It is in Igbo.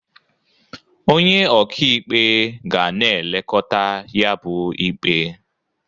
Onye ọka ikpe ga na-elekota ya bu ikpe.